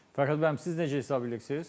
Fəxrəddin müəllim, siz necə hesab edirsiniz?